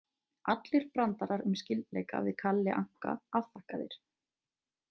Allir brandarar um skyldleika við Kalle Anka afþakkaðir.